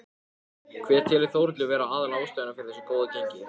Hver telur Þórhallur vera aðal ástæðuna fyrir þessu góða gengi?